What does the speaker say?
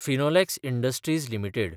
Finolex industries limited